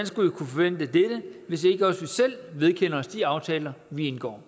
skulle vi kunne forvente dette hvis vi ikke også selv vedkender os de aftaler vi indgår